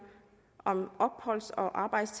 om arbejds og